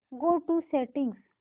go to settings